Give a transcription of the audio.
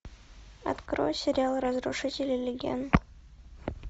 открой сериал разрушители легенд